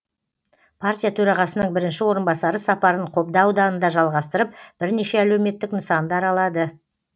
партия төрағасының бірінші орынбасары сапарын қобда ауданында жалғастырып бірнеше әлеуметтік нысанды аралады